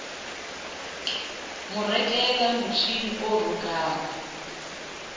mo rekela motjhini o rokang